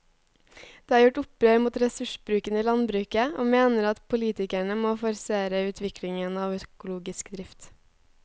De har gjort opprør mot ressursbruken i landbruket og mener at politikerne må forsere utviklingen av økologisk drift.